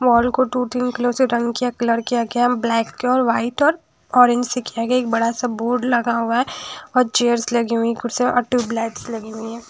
Mall को दु तीन कलर से रंग किया कलर किया गया ब्लैक कलर व्हाइट और ऑरेंज से किया गया एक बड़ासा बोर्ड लगा हुआ हैं और चेयरस् लगी हुईं कुर्सिया और ट्यूब लाइट्स लगी हुईं हैं।